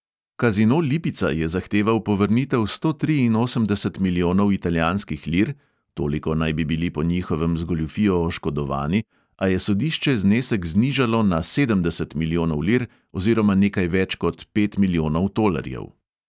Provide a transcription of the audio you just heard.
Kazino lipica je zahteval povrnitev sto triinosemdeset milijonov italijanskih lir (toliko naj bi bili po njihovem z goljufijo oškodovani), a je sodišče znesek znižalo na sedemdeset milijonov lir oziroma nekaj več kot pet milijonov tolarjev.